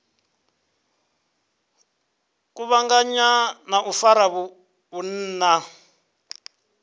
kuvhanganya na u fara vhunna